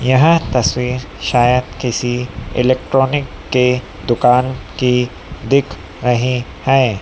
यह तस्वीर शायद किसी इलेक्ट्रॉनिक के दुकान की दिख रही हीं है।